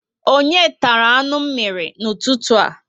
Onye tara anụ mírí n'ụtụtụ a?